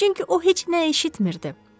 Çünki o heç nə eşitmirdi.